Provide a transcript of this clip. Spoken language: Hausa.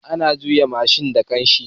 Ana juya mashin da kanshi